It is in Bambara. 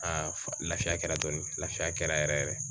lafiya kɛra dɔɔnin lafiya yɛrɛ yɛrɛ